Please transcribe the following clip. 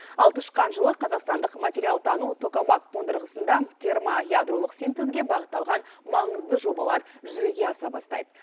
ал тышқан жылы қазақстандық материалтану токамак қондырғысында термоядролық синтезге бағытталған маңызды жобалар жүзеге аса бастайды